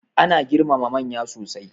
Ana girmama manya sosai.